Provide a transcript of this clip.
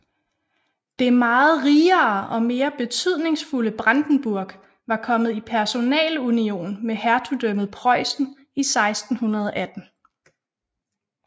Det meget rigere og mere betydningsfulde Brandenburg var kommet i personalunion med hertugdømmet Preussen i 1618